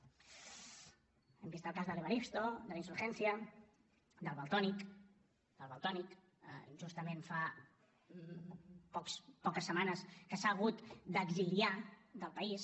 hem vist el cas de l’evaristo de la insurgencia del valtònyc que justament fa poques setmanes que s’ha hagut d’exiliar del país